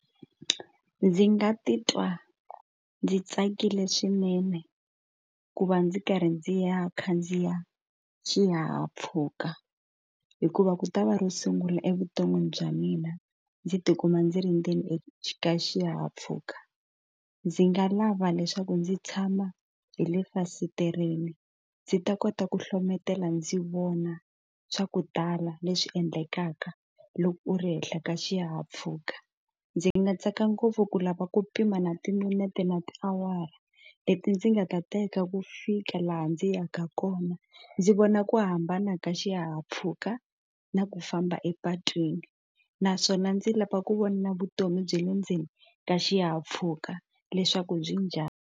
Ndzi nga titwa ndzi tsakile swinene ku va ndzi karhi ndzi ya khandziya xihahampfhuka hikuva ku ta va ro sungula evuton'wini bya mina ndzi tikuma ndzi ri ndzeni ka xihahampfhuka ndzi nga lava leswaku ndzi tshama hi le efasitereni ndzi ta kota ku hlohletela ndzi vona swa ku tala leswi endlekaka loko u ri henhla ka xihahampfhuka ndzi nga tsaka ngopfu ku lava ku pima na timinete na tiawara leti ndzi nga ta teka ku fika laha ndzi yaka kona ndzi vona ku hambana ka xihahampfhuka na ku famba epatwini naswona ndzi lava ku vona vutomi bya le ndzeni ka xihahampfhuka leswaku byi njhani.